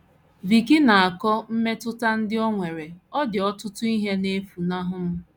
Vicki na - akọ mmetụta ndị o nwere: “ Ọ dị ọtụtụ ihe na - efunahụ m.